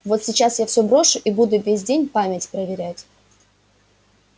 вот сейчас я всё брошу и буду весь день память проверять